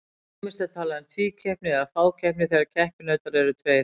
Ýmist er talað um tvíkeppni eða fákeppni þegar keppinautar eru tveir.